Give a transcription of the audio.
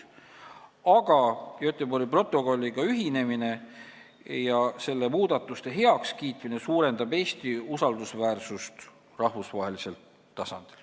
Aga Göteborgi protokolliga ühinemine ja selle muudatuste heakskiitmine suurendab Eesti usaldusväärsust rahvusvahelisel tasandil.